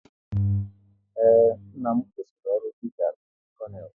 Ee, nna m kwụsịrị ọrụ dịka onye konel